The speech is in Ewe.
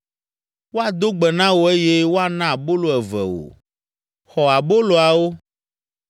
Woado gbe na wò eye woana abolo eve wò. Xɔ aboloawo.